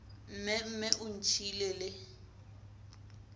mme mme o ntšhiile le